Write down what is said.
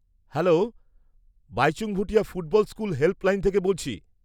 Hello, Baichung Bhutia football school helpline থেকে বলছি।